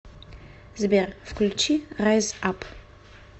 сбер включи райз ап